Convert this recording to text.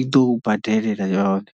i ḓo u badelela yone.